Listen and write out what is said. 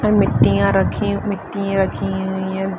और मिट्टियाँ रखी मिट्टी रखी हुई हैं।